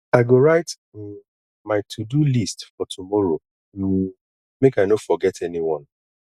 i go write um my todo list for tomorrow um make i no forget anyone